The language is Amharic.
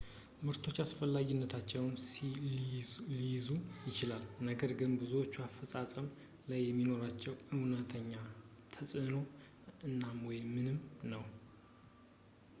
ምርቶች በአስፈላጊነታቸው ሊገዙ ይችላሉ ነገር ግን ብዙዎቹ አፈፃፀም ላይ የሚኖራቸው ዕውነተኛ ተፅዕኖ አናሳ ወይም ምንም ነው